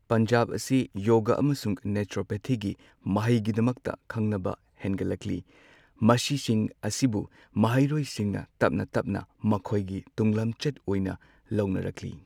ꯄꯟꯖꯥꯕ ꯑꯁꯤ ꯌꯣꯒꯥ ꯑꯃꯁꯨꯡ ꯅꯦꯆꯨꯔꯣꯄꯦꯊꯤꯒꯤ ꯃꯍꯩꯒꯤꯗꯃꯛꯇ ꯈꯪꯅꯕ ꯍꯦꯟꯒꯠꯂꯛꯂꯤ꯫ ꯃꯁꯤꯁꯤꯡ ꯑꯁꯤꯕꯨ ꯃꯍꯩꯔꯣꯏꯁꯤꯡꯅ ꯇꯞꯅ ꯇꯞꯅ ꯃꯈꯣꯏꯒꯤ ꯇꯨꯡ ꯂꯝꯆꯠ ꯑꯣꯏꯅ ꯂꯧꯅꯔꯛꯂꯤ꯫